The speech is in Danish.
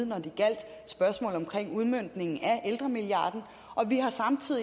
når det gjaldt spørgsmål om udmøntning af ældremilliarden